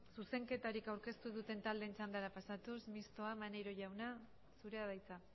zuzenketarik aurkeztu ez duten taldeen txandara pasatuz mistoa upyd maneiro jauna zurea da hitza